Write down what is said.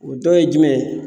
O dɔ ye jumɛn ye